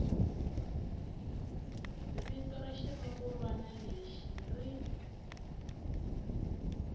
vito ra xirungulwana lexi ri